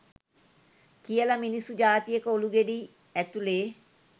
කියල මිනිස්සු ජාතියක ඔළුගෙඩි ඇතුලෙ